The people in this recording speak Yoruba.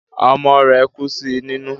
Ọmọ rẹ̀ kú sí nínú